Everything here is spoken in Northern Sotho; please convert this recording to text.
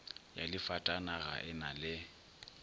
ya difatanaga e na le